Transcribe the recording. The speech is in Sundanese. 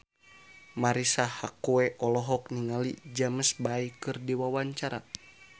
Marisa Haque olohok ningali James Bay keur diwawancara